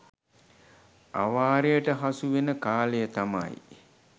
අවාරයට හසු වෙන කාලය තමයි